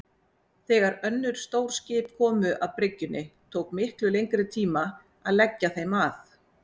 Þegar önnur stór skip komu að bryggjunni tók miklu lengri tíma að leggja þeim að.